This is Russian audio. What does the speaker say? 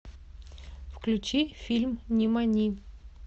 включи фильм нимани